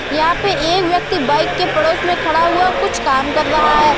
यहाँ पे एक व्यक्ति बाइक के पड़ोस में खड़ा हुआ कुछ काम कर रहा है।